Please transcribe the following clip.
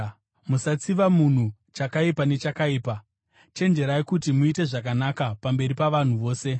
Musatsiva munhu chakaipa nechakaipa. Chenjererai kuti muite zvakanaka pamberi pavanhu vose.